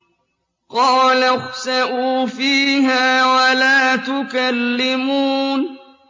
قَالَ اخْسَئُوا فِيهَا وَلَا تُكَلِّمُونِ